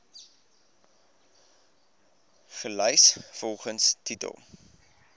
gelys volgens titel